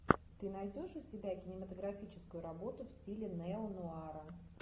ты найдешь у себя кинематографическую работу в стиле неонуара